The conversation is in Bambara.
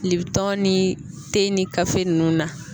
Kile tɔn ni te ni gafe ninnu na